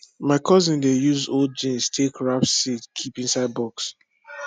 my cousin dey use old jeans take wrap seed keep inside box